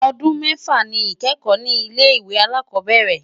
Ọdún mẹ́fà ni ìkẹ́kọ̀ọ́ ní ilé ìwé alákọ̀ọ́bẹ̀rẹ̀.